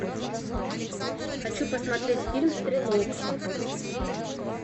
хочу посмотреть фильм стрелок